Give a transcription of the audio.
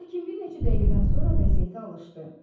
Lakin bir neçə dəqiqədən sonra vəziyyətə alışdı.